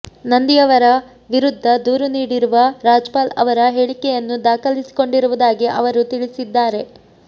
ನಂದಿಯವರ ವಿರುದ್ಧ ದೂರು ನೀಡಿರುವ ರಾಜ್ಪಾಲ್ ಅವರ ಹೇಳಿಕೆಯನ್ನು ದಾಖಲಿಸಿಕೊಂಡಿರುವುದಾಗಿ ಅವರು ತಿಳಿಸಿದ್ದಾರೆ